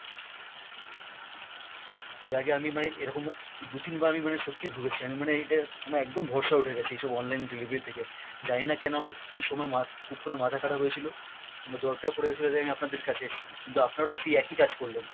এর আগে আমি মানে এরকম দু-তিনবার আমি মানে সত্যি ভুগেছি আমি মানে এটার আমার একদম ভরসা উঠে গেছে এইসব online delivery থেকে, জানিনা কেন আমার কী সময় মা~ কুক্ষনে মাথা খারাপ হয়েছিল, আমার দরকার পরে গেছিলো তাই আমি আপনাদের কাছে এসছিলাম, কিন্তু আপনারাও সেই একই কাজ করলেন।